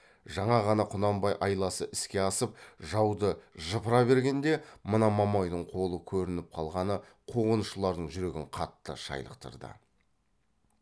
жаңа ғана құнанбай айласы іске асып жауды жыпыра бергенде мына мамайдың қолы көрініп қалғаны қуғыншылардың жүрегін қатты шайлықтырды